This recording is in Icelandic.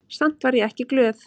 Samt var ég ekki glöð.